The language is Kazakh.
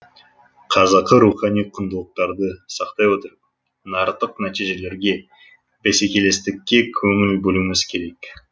қазақы рухани құндылықтарды сақтай отырып нарықтық нәтижелерге бәсекелестікке көңіл бөлуіміз керек